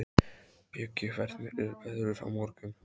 Bjöggi, hvernig er veðrið á morgun?